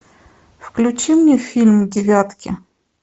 включи мне фильм девятки